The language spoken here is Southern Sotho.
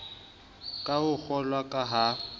ka ho ngollwa ka ha